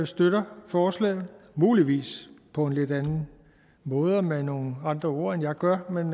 støtter forslaget muligvis på en lidt anden måde og med nogle andre ord end jeg gør men